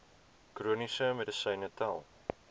chroniese medisyne tel